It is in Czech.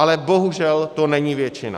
Ale bohužel to není většina.